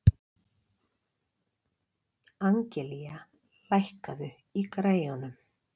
Angelía, lækkaðu í græjunum.